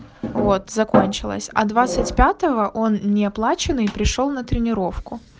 вот закончилось а двадцать пятого он не оплаченный пришёл на тренировку